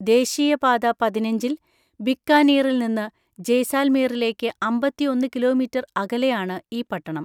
ദേശീയ പാത പതിനഞ്ചിൽ ബിക്കാനീറിൽ നിന്ന് ജയ്‌സാൽമീറിലേക്ക് അമ്പത്തിഒന്ന് കിലോമീറ്റർ അകലെയാണ് ഈ പട്ടണം.